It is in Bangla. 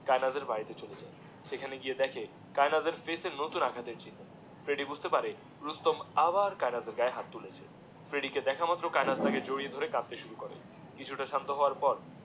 কায়নাথের বাড়িতে চলে যায় সেখানে গিয়ে দেখে কায়নাথের পেটে নতুন আঘাতের চিহ্ন ফ্রেডি বুজতে পারে রুস্তম আবার কায়নাথের গায়ে হাত তুলেছে ফ্রেডি কে দেখা মাত্র কায়নাথ তাকে জড়িয়ে ধরে কাঁদতে শুরু করে কিছুটা শান্ত হওয়ার পর